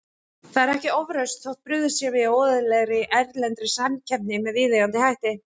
Það er ekki ofrausn þótt brugðist sé við óeðlilegri, erlendri samkeppni með viðeigandi hætti.